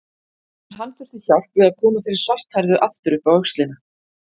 En hann þurfti hjálp við að koma þeirri svarthærðu aftur upp á öxlina.